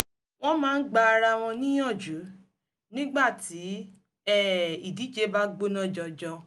wọ́n máa ń gba ara wọn níyànjú nígbà tí um ìdíje bá gbóná janjan